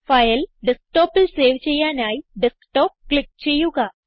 file ഡെസ്ക്ടോപ്പിൽ save ചെയ്യാനായി desktop click ചെയ്യുക